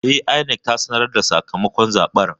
E, INEC ta sanar da sakamakon zaben.